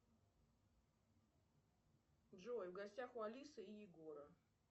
джой в гостях у алисы и егора